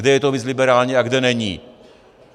Kde je to víc liberální a kde není.